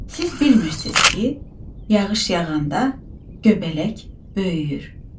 Siz bilmirsiz ki, yağış yağanda göbələk böyüyür.